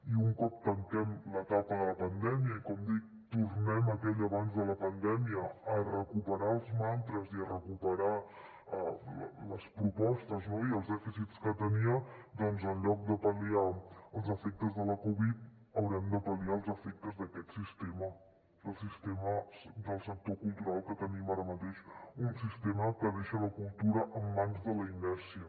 i un cop tanquem l’etapa de la pandèmia i com dic tornem a aquell abans de la pandèmia a recuperar els mantres i a recuperar les propostes i els dèficits que tenia doncs en lloc de pal·liar els efectes de la covid haurem de pal·liar els efectes d’aquest sistema del sistema del sector cultural que tenim ara mateix un sistema que deixa la cultura en mans de la inèrcia